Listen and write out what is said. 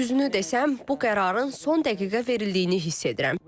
Düzünü desəm, bu qərarın son dəqiqə verildiyini hiss edirəm.